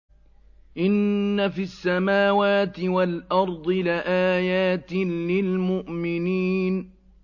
إِنَّ فِي السَّمَاوَاتِ وَالْأَرْضِ لَآيَاتٍ لِّلْمُؤْمِنِينَ